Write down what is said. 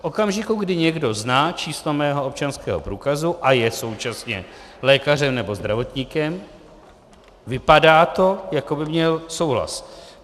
V okamžiku, kdy někdo zná číslo mého občanského průkazu a je současně lékařem nebo zdravotníkem, vypadá to, jako by měl souhlas.